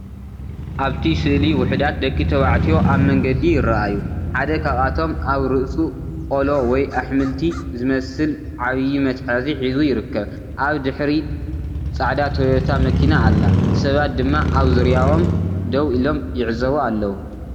ኣብቲ ስእሊ ውሑዳት ደቂ ተባዕትዮ ኣብ መንገዲ ይረኣዩ። ሓደ ካብኣቶም ኣብ ርእሱ ቆሎ ወይ ኣሕምልቲ ዝመስል ዓቢ መትሓዚ ሒዙ ይርከብ። ኣብ ድሕሪት ጻዕዳ ቶዮታ መኪና ኣላ፡ ሰባት ድማ ኣብ ዙርያኦም ደው ኢሎም ይዕዘቡ ኣለዉ።